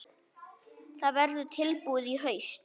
Það verður tilbúið í haust.